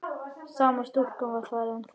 Sama stúlkan var þar ennþá.